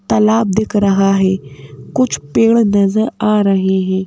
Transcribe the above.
तालाब दिख रहा है कुछ पेड़ नजर आ रहे हैं।